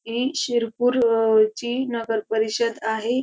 ही शिरपूर ची नगर परिषद आहे.